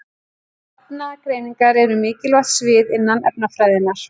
Efnagreiningar eru mikilvægt svið innan efnafræðinnar.